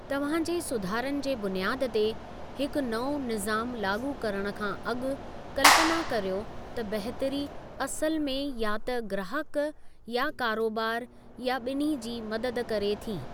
तव्हां जे सुधारनि जे बुनियादु ते हिकु नओं निज़ामु लाॻू करणु खां अॻु, कल्पना करियो त बहितरी असुलु में या त ग्राहकु या कारोबारु, या ॿिन्ही जी मदद करे थी।